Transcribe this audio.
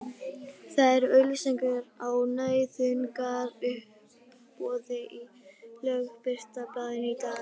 Þær eru auglýstar á nauðungaruppboði í Lögbirtingablaðinu í dag!